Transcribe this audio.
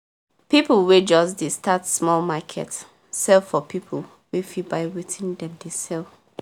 people wey just dey start small market sell for people wey fit buy wetin dem dey sell